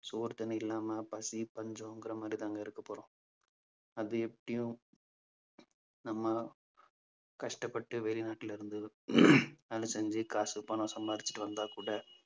சோறு தண்ணி இல்லாம பசி பஞ்சங்கிற மாதிரிதாங்க இருக்கப் போறோம். அது எப்படியும் நம்ம கஷ்டப்பட்டு வெளிநாட்டுல இருந்து வேலை செஞ்சு காசு பணம் சம்பாரிச்சுட்டு வந்தா கூட